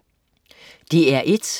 DR1: